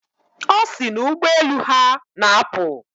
Ọ sị na ụgbọelu ha na-apụ.